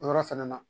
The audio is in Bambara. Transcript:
O yɔrɔ fɛnɛ na